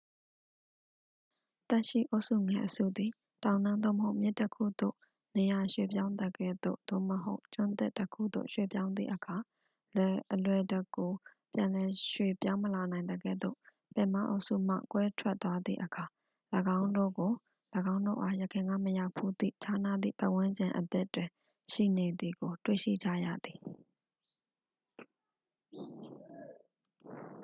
သက်ရှိအုပ်စုငယ် အစုငယ် သည် တောင်တန်း သို့မဟုတ် မြစ်တစ်ခုသို့ နေရာရွေ့ပြောင်းသကဲ့သို့ သို့မဟုတ် ကျွန်းသစ်တစ်ခုသို့ ရွေ့ပြောင်းသည့်အခါ အလွယ်တကူ ပြန်လည်ရွေ့ပြောင်းမလာနိုင်သကဲ့သို့ ပင်မအုပ်စုမှ ကွဲထွက်သွားသည့်အခါ ၎င်းတို့ကို ၎င်းတို့အား ယခင်ကမရောက်ဘူးသည့် ခြားနားသည့်ပတ်ဝန်းကျင်အသစ်တွင် ရှိနေသည်ကို တွေ့ရှိကြရသည်။